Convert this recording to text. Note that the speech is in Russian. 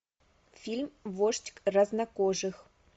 фильм вождь краснокожих